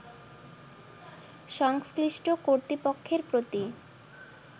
সংশ্লিষ্ট কর্তৃপক্ষের প্রতি